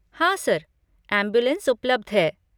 हाँ sir, ambulance उपलब्ध है।